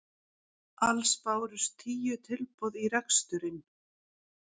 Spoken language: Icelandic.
Alls bárust tíu tilboð í reksturinn